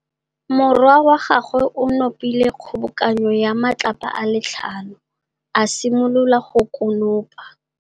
Morwa wa gagwe o nopile kgobokanô ya matlapa a le tlhano, a simolola go konopa.